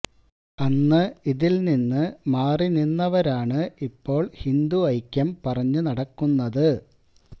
അന്ന് ഇതില്നിന്ന് മാറി നിന്നവരാണ് ഇപ്പോള് ഹിന്ദു ഐക്യം പറഞ്ഞ് നടക്കുന്നത്